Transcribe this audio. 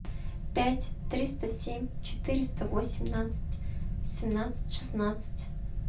пять триста семь четыреста восемнадцать семнадцать шестнадцать